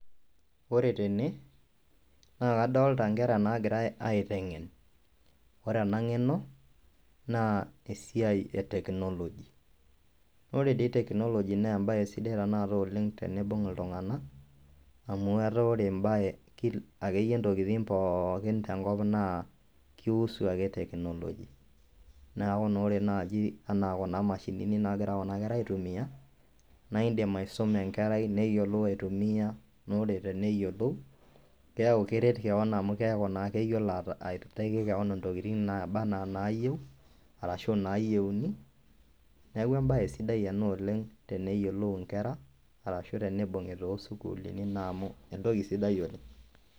Ore tene naa kadoolta inkera naagirai aiteng'en ore ena ng'eno na esiai e technology ore doi technology naa embaye sidai oleng teneibung iltung'anak amu etaa ore imbaa akeyie pookin tenkop naa kihusu ake technology neeku ore naa ake naaji enaa kuna mashinini naagira kuna kera aitumia naindim aisuma enkerai neyiolou atumiya naa ore teneyiolou keeku keret kewon amu keeku keyiolo aitaki kewon intokitin naabanaa inaayieu arashuu inaayieuni neeku embaye sidai ena oleng teneyiolou inkera arashu teneibung'i tooskuulini naa amu entoki sidai oleng.